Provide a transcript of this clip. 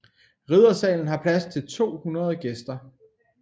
Riddersalen har plads til 200 gæster